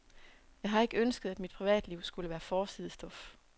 Jeg har ikke ønsket, at mit privatliv skulle være forsidestof.